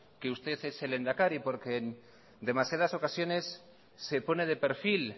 que usted es el lehendakari porque en demasiadas ocasiones se pone de perfil